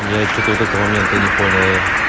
я что-то вот этого момента не понял